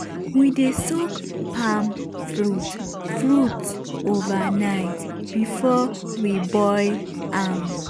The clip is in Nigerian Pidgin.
we dey soak palm fruit fruit overnight before we boil am.